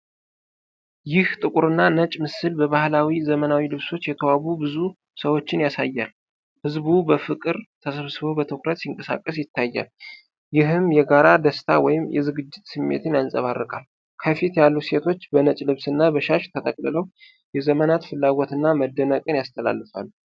ይህ ጥቁርና ነጭ ምስል በባህላዊና ዘመናዊ ልብሶች የተዋቡ ብዙ ሰዎችን ያሳያል። ሕዝቡ በፍቅር ተሰብስቦ በትኩረት ሲንቀሳቀስ ይታያል፤ ይህም የጋራ ደስታ ወይም የዝግጅት ስሜትን ያንፀባርቃል። ከፊት ያሉት ሴቶች በነጭ ልብስና በሻሽ ተጠቅልለው የዘመናትን ፍላጎት እና መደነቅን ያስተላልፋሉ።